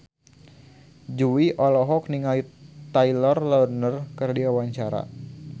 Jui olohok ningali Taylor Lautner keur diwawancara